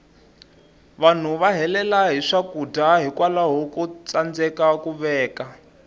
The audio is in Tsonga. vanhu va helela hi swakudya hikwalaho ko tsandeka ku veka